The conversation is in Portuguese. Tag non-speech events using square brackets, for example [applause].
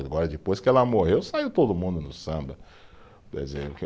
Agora, depois que ela morreu, saiu todo mundo no samba. [unintelligible]